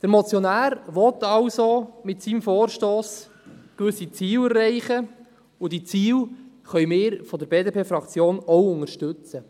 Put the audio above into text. Der Motionär will also mit seinem Vorstoss gewisse Ziele erreichen, und diese Ziele können wir von der BDP-Fraktion auch unterstützen.